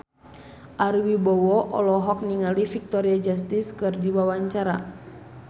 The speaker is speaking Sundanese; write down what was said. Ari Wibowo olohok ningali Victoria Justice keur diwawancara